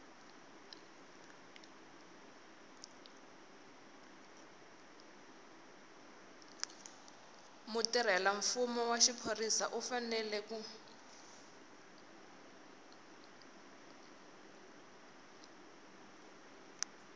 mutirhelamfumo wa xiphorisa u fanele